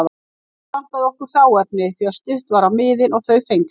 Ekki vantaði okkur hráefni því að stutt var á miðin og þau fengsæl.